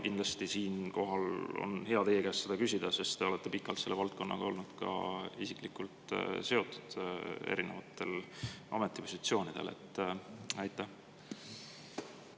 Kindlasti on teie käest seda küsida, sest te olete pikalt selle valdkonnaga olnud ka isiklikult seotud erinevatel ametipositsioonidel.